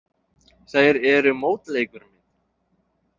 Þær eru mótleikur minn.